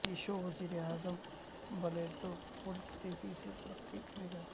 نتیش وزیراعظم بنے توملک تیزی سے ترقی کرے گا